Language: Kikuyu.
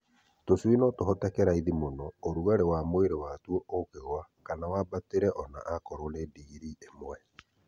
Tũcui no tũhoteke raithi mũno ũrugarĩ wa mwĩrĩ watuo ũngĩgũa kana wambatĩre ona okorwo nĩ na ndigiri ĩmwe.